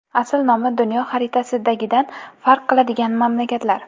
Asl nomi dunyo xaritasidagidan farq qiladigan mamlakatlar.